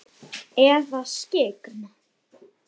Eða skyggn?